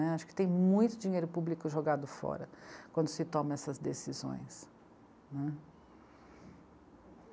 Acho que tem muito dinheiro público jogado fora quando se toma essas decisões, né.